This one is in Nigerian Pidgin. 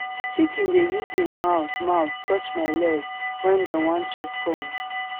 chicken dey use em mouth mouth touch my leg wen dem want chop corn